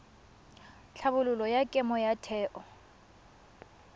tlhabololo ya kemo ya theo